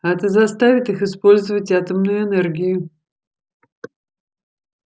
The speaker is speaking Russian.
а это заставит их использовать атомную энергию